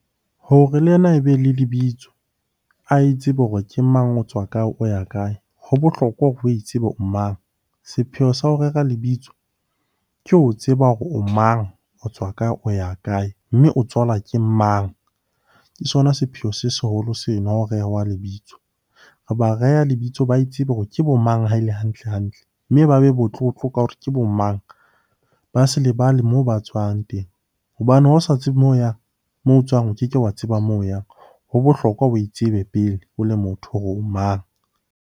Hore le ena e be le lebitso, a itsebe hore ke mang? O tswa kae? O ya kae? Ho bohlokwa o itsebe o mang? Sepheo sa ho rera lebitso ke o tseba hore o mang? O tswa kae? O ya kae? Mme o tswalwa ke mang? Ke sona sepheo se seholo seno o rehwa lebitso. Re ba reha lebitso ba itsebe hore ke bo mang haele hantle-hantle? Mme ba be motlotlo ka hore ke bo mang? Ba se lebale moo ba tswang teng hobane ha o sa tsebe moo o yang? Moo tswang, o keke wa tseba moo o yang. Ho bohlokwa o itsebe pele o le motho hore o mang?